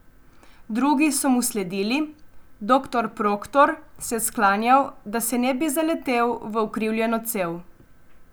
Drugi so mu sledili, doktor Proktor se je sklanjal, da se ne bi zaletel v ukrivljeno cev.